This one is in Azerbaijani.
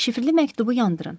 Şifrli məktubu yandırın.